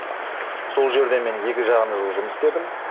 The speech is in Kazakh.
сол жерде мен екі жарым жыл жұмыс істедім